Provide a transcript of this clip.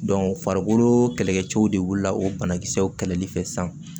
farikolo kɛlɛkɛcɛw de wulila o banakisɛw kɛlɛli fɛ sisan